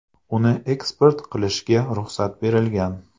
Uni eksport qilishga ruxsat berilgan.